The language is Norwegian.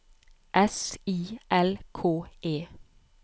S I L K E